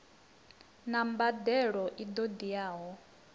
na mbadelo i ṱo ḓeaho